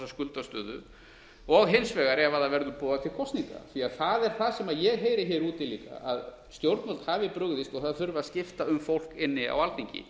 skuldastöðu og hins vegar ef það verður boðað til kosninga það er það sem ég heyri hér úti líka að stjórnvöld hafi brugðist og það þurfi að skipta um fólk inni á alþingi